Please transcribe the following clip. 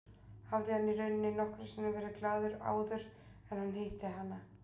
Hafði hann í rauninni nokkru sinni verið glaður áður en hann hitti hana?